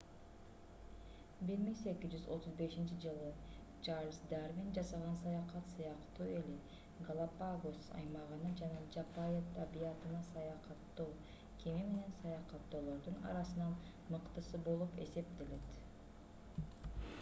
1835-жылы чарльз дарвин жасаган саякат сыяктуу эле галапагос аймагына жана жапайы табиятына саякаттоо кеме менен саякаттоолордун арасынан мыктысы болуп эсептелет